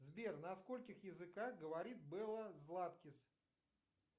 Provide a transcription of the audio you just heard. сбер на скольких языках говорит белла златкис